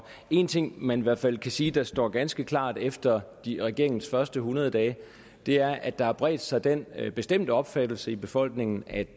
en ting man i hvert fald kan sige der står ganske klart efter regeringens første hundrede dage er at der har bredt sig den bestemte opfattelse i befolkningen at